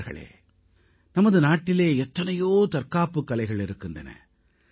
நண்பர்களே நமது நாட்டிலே எத்தனையோ தற்காப்புக் கலைகள் இருக்கின்றன